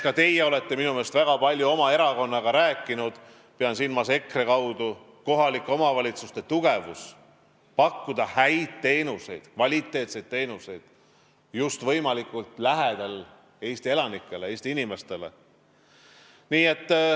Ka teie olete minu arvates väga palju oma erakonnaga rääkinud kohalike omavalitsuste tugevusest, et nad saaksid pakkuda häid teenuseid, kvaliteetseid teenuseid just võimalikult lähedal Eesti elanikele, Eesti inimestele.